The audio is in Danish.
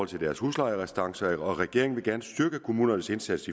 til deres huslejerestancer regeringen vil gerne styrke kommunernes indsats